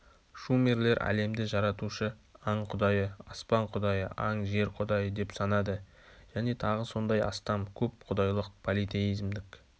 шумерлер әлемді жаратушы аң-құдайы аспан құдайы аң жер құдайы деп санады және тағы сондай астам көп құдайлық политеизмдік